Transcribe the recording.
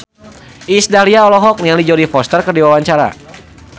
Iis Dahlia olohok ningali Jodie Foster keur diwawancara